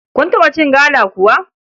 Kun taɓa cin gala kuwa?